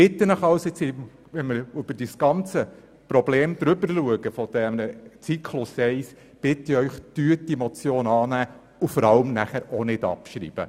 Bitte denken Sie an die Situation der Lehrpersonen im Zyklus 1. Nehmen Sie diese Motion an, und schreiben Sie sie vor allem auch nicht ab.